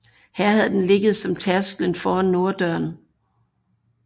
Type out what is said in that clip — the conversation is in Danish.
Her havde den ligget som tærskelsten foran norddøren